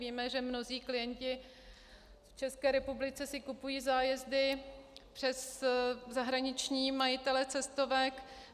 Víme, že mnozí klienti v České republice si kupují zájezdy přes zahraniční majitele cestovek.